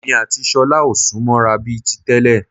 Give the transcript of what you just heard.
Èmi àti ṣọlá ò sún mọ́ ra bíi ti tẹ́lẹ̀